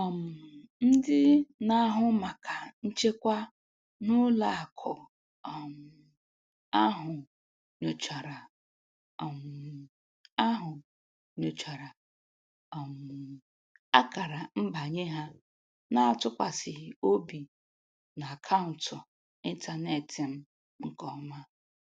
um Ndị na-ahụ maka nchekwa n'ụlọakụ um ahụ nyochara um ahụ nyochara um akara nbanye ha na-atụkwasịghị obi n'akaụntụ ịntaneetị m nke ọma